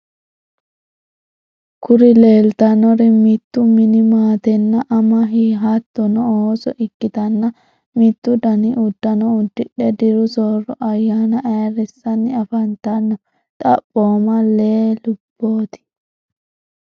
kuri leelitannori mittu mini maate, anna, ama, hattonni ooso ikkitana mittu dani uddano uddidhe diru soorro ayyaana ayirissanni afantanno. xaphooma lee lubboti.